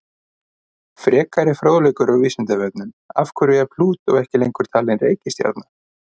Frekari fróðleikur á Vísindavefnum: Af hverju er Plútó ekki lengur talin reikistjarna?